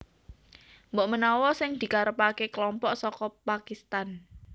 Mbok menawa sing dikarepaké kelompok saka Pakistan